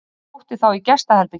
Hann sótti þá í gestaherbergið.